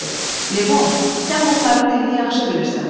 Levon, sən bunların dilini yaxşı bilirsən.